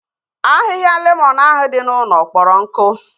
Ahịhịa lemọn ahụ dị n'ụlọ kpọrọ nkụ